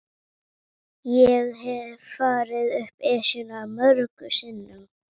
Ég hef farið upp Esjuna mörgum sinnum.